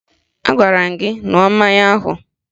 Agwara m gị ṅụọ mmanya ahụ!